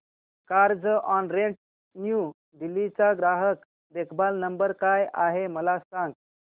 Carzonrent new Delhi चा ग्राहक देखभाल नंबर काय आहे मला सांग